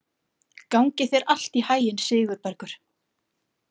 Gangi þér allt í haginn, Sigurbergur.